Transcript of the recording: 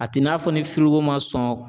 A t'i n'a fɔ ni firigo man sɔn